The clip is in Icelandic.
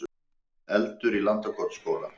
Eldur í Landakotsskóla